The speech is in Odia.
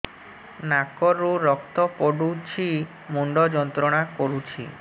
ନାକ ରୁ ରକ୍ତ ପଡ଼ୁଛି ମୁଣ୍ଡ ଯନ୍ତ୍ରଣା କରୁଛି